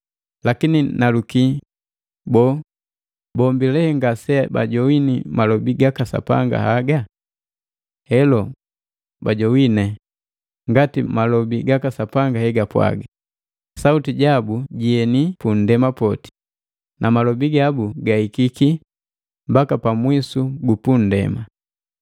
Lakini naluki, boo, bombi lee ngase bajogwine malobi gaka Sapanga haga? Helo, bajogwine, ngati malobi gaka Sapanga he gapwaga, “Sauti jabu jieni pu nndema poti, na malobi gabu gahikiki mbaka pamwisu gu punndema.”